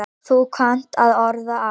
Þú kannt að orða allt.